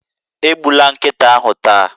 Egbula nkịta ahụ taa